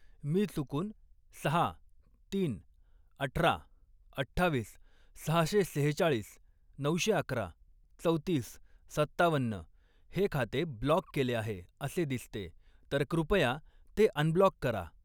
मी चुकून सहा, तीन, अठरा, अठ्ठावीस, सहशे सेहेचाळीस, नऊशे अकरा, चौतीस, सत्तावन्न हे खाते ब्लॉक केले आहे असे दिसते तर कृपया ते अनब्लॉक करा.